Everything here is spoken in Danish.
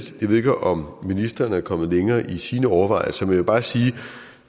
jeg ved ikke om ministeren er kommet længere i sine overvejelser vil bare sige at